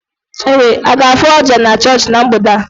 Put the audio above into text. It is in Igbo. Ị ga-afụ oja na chọọchị na mgbede a?